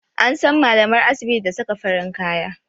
An san malamar asibiti da saka farin kaya